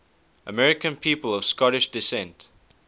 american people of scottish descent